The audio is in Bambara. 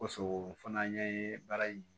Koson fana ye baara in